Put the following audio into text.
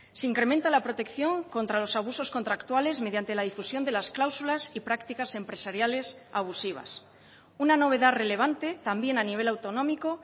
se incrementa la protección contra los abusos contractuales mediante la difusión de las cláusulas y prácticas empresariales abusivas una novedad relevante también a nivel autonómico